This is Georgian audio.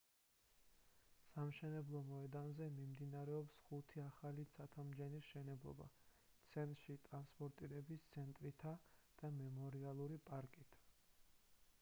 სამშენებლო მოედანზე მიმდინარეობს ხუთი ახალი ცათამბჯენის მშენებლობა ცენტრში ტრანსპორტირების ცენტრითა და მემორიალური პარკით